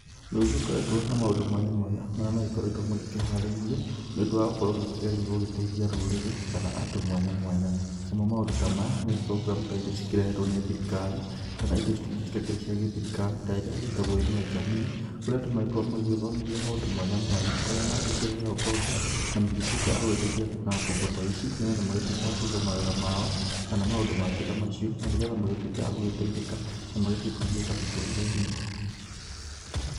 Nĩ gũgĩkoretwo na maũndũ mwanya mwanya marĩa magĩkoretwo magĩkĩharĩrio, nĩ ũndũ wa gũgĩkorwo makĩgeria gũgĩteithia rũrĩrĩ, kana andũ mwanya mwanya. Namo maũndũ ta maya nĩ program iria cikĩrehetwo nĩ thirikari, kana indo ingĩ citakĩrĩ cia gĩthirikari ta ĩria ĩgĩtagwo inua Jamii, kũrĩa andũ magĩgĩkoragwo magĩgĩthomithio maũndũ ũrĩa mangĩkĩheo ngombo na magĩtuĩke agũgĩteithi na ngombo ta ici, na magĩtuĩke agũgĩkĩiga mawĩra mao, kana maũndũ mangĩ ta macio na nĩgetha magĩtuĩke agũgĩteithĩka na magĩtige kũgiĩka mĩtũrĩre inĩ.